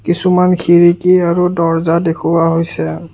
কিছুমান খিৰিকী আৰু দৰ্জা দেখুওৱা হৈছে।